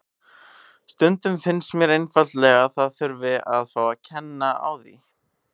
Stundum finnst mér einfaldlega að það þurfi að fá að kenna á því.